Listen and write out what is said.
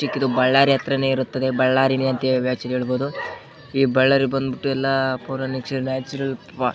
ಬಳ್ಳಾರಿ ಹತ್ರನೇ ಇರುತ್ತದೆ ಬಳ್ಳಾರಿನೇ ಅಂತ ಹೇಳ್ಬಹುದುದ್ ಈ ಬಳ್ಳಾರಿ ಬಂದ್ಬಿಟ್ಟು --